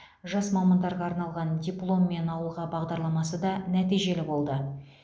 жас мамандарға арналған дипломмен ауылға бағдарламасы да нәтижелі болды